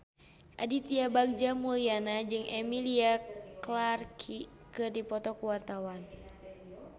Aditya Bagja Mulyana jeung Emilia Clarke keur dipoto ku wartawan